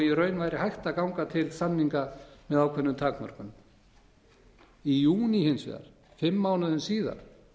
raun væri hægt að ganga til samninga með ákveðnum takmörkunum í júní hins vegar fimm mánuðum síðar